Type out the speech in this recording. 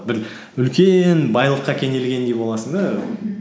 бір үлкен байлыққа кенелгендей боласың да мхм